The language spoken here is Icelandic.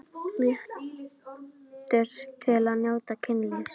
Réttur til að njóta kynlífs